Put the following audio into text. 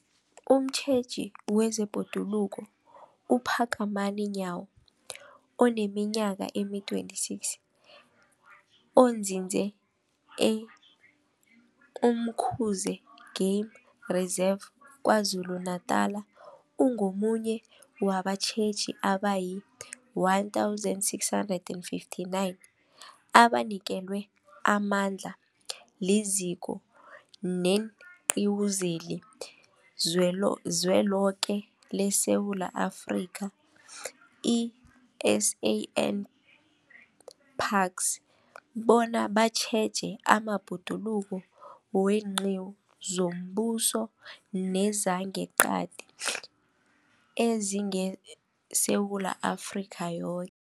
Umtjheji wezeBhoduluko uPhakamani Nyawo oneminyaka ema-26, onzinze e-Umkhuze Game Reserve KwaZulu-Natala, ungomunye wabatjheji abayi-1 659 abanikelwe amandla liZiko leenQiwu zeliZweloke leSewula Afrika, i-SANParks, bona batjheje amabhoduluko weenqiwu zombuso nezangeqadi ezingeSewula Afrika yoke.